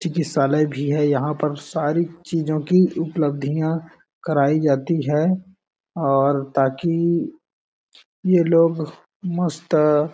चिकित्सालय भी है यहाँ पर सारी चीजों की उपलब्धियां कराई जाती है और ताकि ये लोग मस्त --